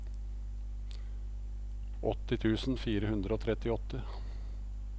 åtti tusen fire hundre og trettiåtte